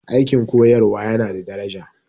Aikin koyarwa yana da daraja